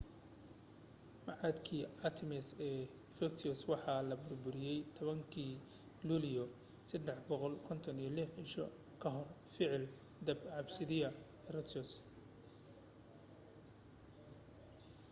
macbadkii artemis ee efesos waxaa la burburiyey 21-kii luulyo 356 ciise kahor ficil dab qabadsiiyay herostratus